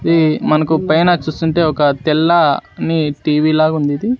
ఈ మనకు పైన చేస్తుంటే ఒక తెల్ల నీ టీ_వీ లాగా ఉంది ఇది.